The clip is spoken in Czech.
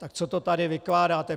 Tak co to tady vykládáte?